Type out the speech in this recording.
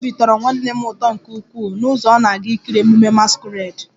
Obi tọrọ nwanne m nwoke ụtọ nke ukwuu n'ụzọ ọ na-aga ikiri ememme masquerade